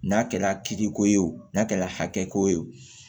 N'a kɛra tigi ko ye o n'a kɛla hakɛ ko ye wo